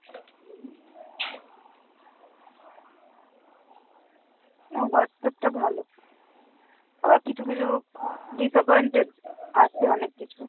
না Whatsapp টা ভালো, আবার কিছু কিছু disappointed আছে অনেক কিছু।